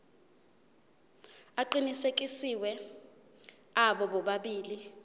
aqinisekisiwe abo bobabili